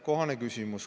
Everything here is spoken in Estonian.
Kohane küsimus.